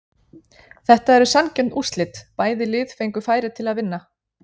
Þetta eru sanngjörn úrslit, bæði lið fengu færi til að vinna